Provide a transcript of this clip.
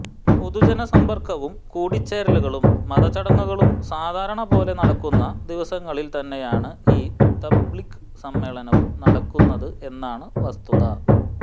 പൊതുജന സമ്പർക്കവും കൂടിച്ചേരലുകളും മതചടങ്ങുകളും സാധാരണപോലെ നടക്കുന്ന ദിവസങ്ങളിൽ തന്നെയാണ് ഈ തബ്ലീഗ് സമ്മേളനവും നടക്കുന്നത് എന്നതാണ് വസ്തുത